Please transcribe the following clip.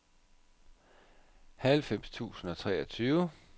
halvfems tusind og treogtyve